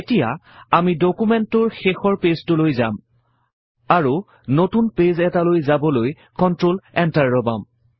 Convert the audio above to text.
এতিয়া আমি ডুকুমেন্টটোৰ শেষৰ পেজটোলৈ যাম আৰু নতুন পেজ এটালৈ যাবলৈ কন্ট্ৰল Enter দবাম